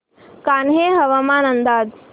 कान्हे हवामान अंदाज